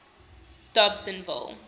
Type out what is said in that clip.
dobsenville